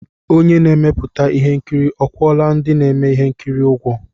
Onye na-emepụta ihe nkiri akwụọla ndị na-eme ihe nkiri ụgwọ?